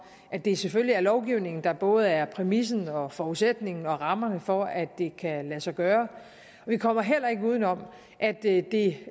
at det selvfølgelig er lovgivningen der både er præmissen og forudsætningen og rammerne for at det kan lade sig gøre vi kommer heller ikke uden om at det det